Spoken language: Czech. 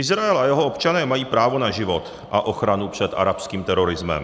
Izrael a jeho občané mají právo na život a ochranu před arabským terorismem.